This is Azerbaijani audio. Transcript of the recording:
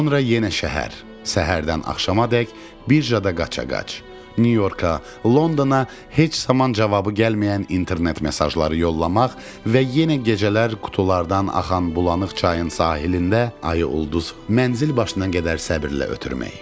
Sonra yenə şəhər, səhərdən axşamadək birjada qaçaqaç, Nyu-Yorka, Londona heç zaman cavabı gəlməyən internet mesajları yollamaq və yenə gecələr qutulardan axan bulanıq çayın sahilində ayıl ulduz mənzil başına qədər səbirlə ötürmək.